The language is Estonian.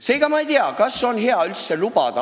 Seega ma ei tea, kas on hea inimesi üldse siia lubada.